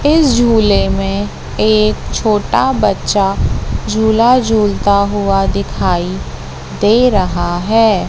इस झूले में एक छोटा बच्चा झूला झूलता हुआ दिखाई दे रहा है।